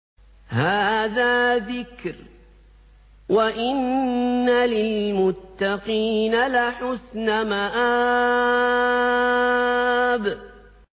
هَٰذَا ذِكْرٌ ۚ وَإِنَّ لِلْمُتَّقِينَ لَحُسْنَ مَآبٍ